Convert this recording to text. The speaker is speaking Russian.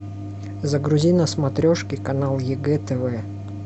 загрузи на смотрешке канал егэ тв